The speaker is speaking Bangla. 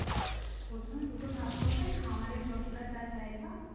প্রথমে দুটো ভাগ করবে খামারের যতটা যার জায়গা